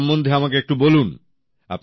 আপনার সম্বন্ধে আমাকে একটু বলুন